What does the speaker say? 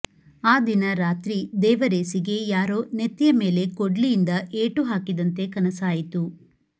ಆ ದಿನ ರಾತ್ರಿ ದೇವರೇಸಿಗೆ ಯಾರೋ ನೆತ್ತಿಯ ಮೇಲೆ ಕೊಡ್ಲಿಯಿಂದ ಏಟು ಹಾಕಿದಂತೆ ಕನಸಾಯಿತು